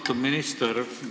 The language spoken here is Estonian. Austatud minister!